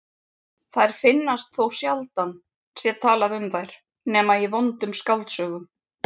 Þær finnast þótt sjaldan sé talað um þær nema í vondum skáldsögum.